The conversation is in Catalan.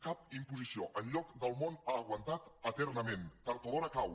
cap imposició enlloc del món ha aguantat eternament tard o d’hora cau